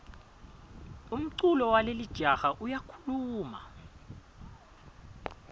umculo walelijaha uyakhuluma